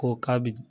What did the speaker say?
Ko k'a bi